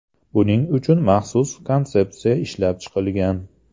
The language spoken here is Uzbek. Buning uchun maxsus konsepsiya ishlab chiqilgan .